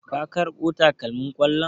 Ka karbo takalmin kollon?